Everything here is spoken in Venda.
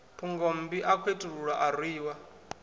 phungommbi a khethululwa a rwiwa